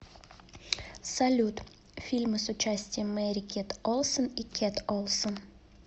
салют фильмы с участием мери кет олсон и кет олсон